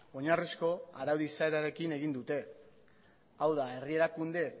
oinarrizko arau izaerarekin egin dute hau da herri erakunde edo